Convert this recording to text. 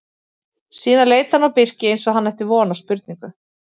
Síðan leit hann á Birki eins og hann ætti von á spurningu.